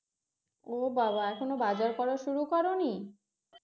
ও বাবা এখন বাজার করা শুরু করনি